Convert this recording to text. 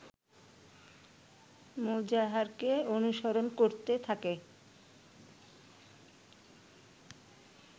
মোজাহারকে অনুসরণ করতে থাকে